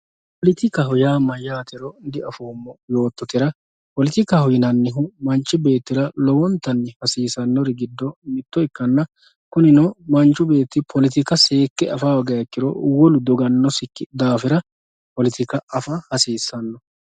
poletikaho yaa mayyaatero diafoommo yoottotera poletikaho yinannihu manchi beettira lowontanni hasiisannori giddo mitto ikkanna kunino manchu beetti poletika seekke afa hoogiha ikkiwo wolu dogannosikki daafira poletoka afa hasiissanno